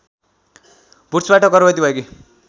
वुड्सबाट गर्भवती भएकी